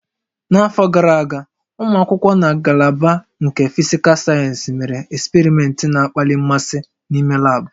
N'afọ gara aga, ụmụ akwụkwọ na ngalaba nke Fisical Sayensị mere eksperimentị na-akpali mmasị n'ime lab